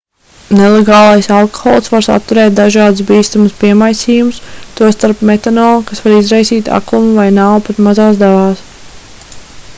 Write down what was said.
nelegālais alkohols var saturēt dažādus bīstamus piemaisījumus tostarp metanolu kas var izraisīt aklumu vai nāvi pat mazās devās